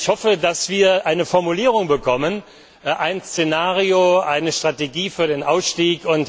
Also, ich hoffe, dass wir eine Formulierung bekommen, ein Szenario, eine Strategie für den Ausstieg.